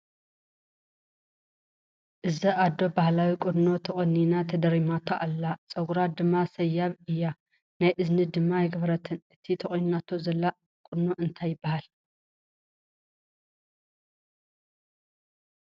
እዛ ኣዶ ባህላዊ ቁኖ ተቆኒና ተደርሚማቶ ኣላ ። ፀጉራ ድማ ሰያብ እያ ናይ እዝኒ ድማ ኣይገበረትን ። እቲ ተቆኒናቶ ዘላ ቁኖ እንታይ ይባሃል ?